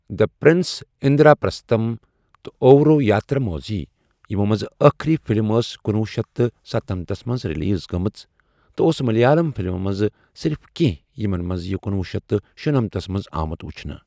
دی Prince, Indraprastham, تہٕ اورو یاتراموزی، یِمَو منٛز ٲخٕری فِلم ٲس کنۄہ شیتھ تہٕ ستَنمَتس منٛز ریلیز گٔمٕژ، تہٕ اوس ملیالم فلمَو منٛز صرف کینٛہہ یِمَن منٛز یہِ کنۄہ شیتھ تہٕ شُنمتھس منٛز آمُت ؤچھنہٕ۔